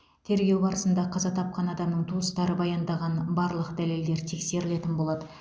тергеу барысында қаза тапқан адамның туыстары баяндаған барлық дәлелдер тексерілетін болады